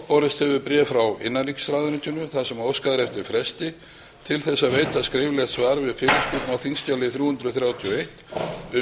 borist hefur bréf frá innanríkisráðuneytinu þar sem óskað er eftir fresti til að veita skriflegt svar við fyrirspurn á þingskjali þrjú hundruð og þrjátíu og eitt um